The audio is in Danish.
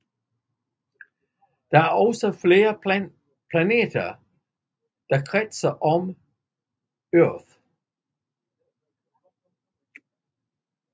Der er også flere planeter der kredser om Oerth